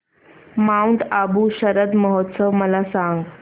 Mount Abu शरद महोत्सव मला सांग